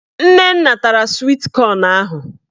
Nnenna tara swit kọn ahụ